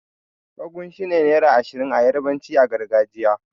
Ogun' shine naira Ashirin da yarbanci a gargajiya.